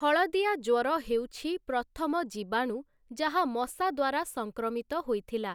ହଳଦିଆ ଜ୍ୱର ହେଉଛି ପ୍ରଥମ ଜୀବାଣୁ ଯାହା ମଶା ଦ୍ଵାରା ସଂକ୍ରମିତ ହୋଇଥିଲା ।